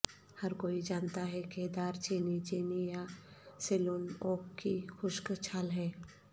ہر کوئی جانتا ہے کہ دار چینی چینی یا سیلون اوک کی خشک چھال ہے